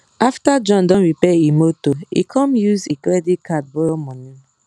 after john don repair e motor e com use e credit card borrow money